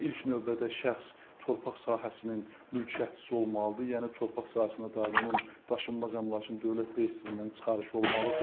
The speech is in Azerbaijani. İlk növbədə şəxs torpaq sahəsinin mülkiyyətçisi olmalıdır, yəni torpaq sahəsinə dair onun daşınmaz əmlakın dövlət reyestrindən çıxarışı olmalıdır.